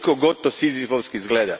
Koliko god da to sizifovski izgleda.